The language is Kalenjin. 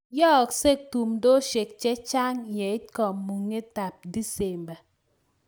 Yooksei tumdosiek chechang' wng' kamung'etab disemba